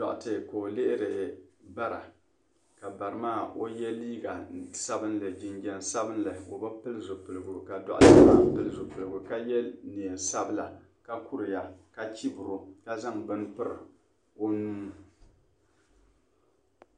Duɣite ka o lihiri bara ka bari maa o ye liiga sabinli jinjam sabinli o be pili zipiligu ka duɣite maa pili zipiligu ka ye neein'sabila ka kuriya ka chibiri o ka zaŋ beni piri o nuu.